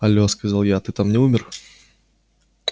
алло сказала я ты там не умер